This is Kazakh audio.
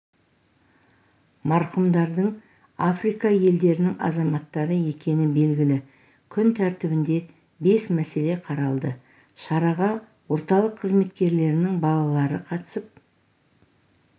марқұмдардың африка елдерінің азаматтары екені белгілі күн тәртібінде бес мәселе қаралды шараға орталық қызметкерлерінің балалары қатысып